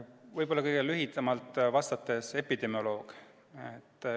Võib-olla kõige lühemalt vastates: epidemioloog.